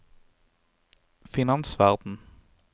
finansverden